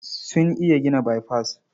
Sun iya gina baifas.